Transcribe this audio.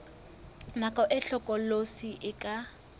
nako e hlokolosi e ka